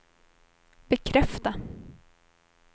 bekräfta